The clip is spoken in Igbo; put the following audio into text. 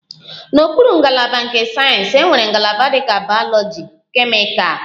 N'okpuru ngalaba nke sayensị, enwere ngalaba dịka bayoloji, kemịkal